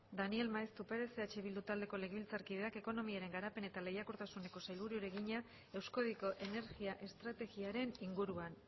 daniel maeztu perez eh bildu taldeko legebiltzarkideak ekonomiaren garapen eta lehiakortasuneko sailburuari egina euskadiko energia estrategiaren inguruan